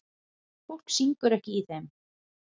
Fólk syngur ekki í þeim.